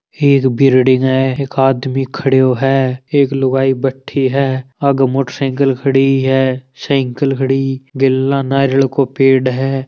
एक बिल्डिंग है एक आदमी खड़ो है एक लुगाई बेठी है आगे मोटेरसाइकिल खड़ी है साइकिल खड़ी गेला नारियल को पेड़ है।